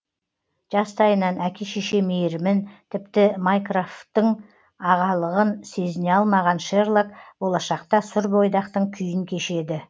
жастайынан әке шеше мейірімін тіпті майкрофтың ағалығын сезіне алмаған шерлок болашақта сұр бойдақтың күйін кешеді